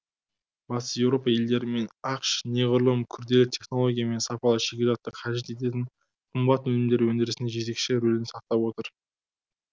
батыс еуропа елдері мен ақш неғұрлым күрделі технология мен сапалы шикізатты қажет ететін қымбат өнімдер өндірісінде жетекші рөлін сақтап отыр